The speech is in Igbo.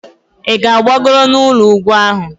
Ị gbagoro n'elu ugwu ahụ?